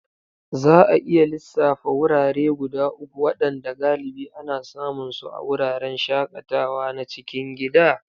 Za a iya lissafa wurare guda uku waɗanda galibi ana samun su a wuraren shakatawa na cikin gida?